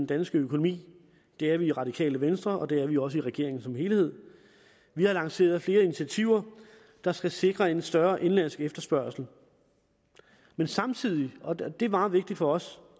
dansk økonomi det er vi i radikale venstre og det er vi også i regeringen som helhed vi har lanceret flere initiativer der skal sikre en større indenlandsk efterspørgsel men samtidig og det er meget vigtigt for os